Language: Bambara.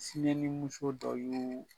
Sinɛnimuso dɔ y'oo